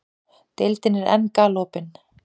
Deildin er enn galopin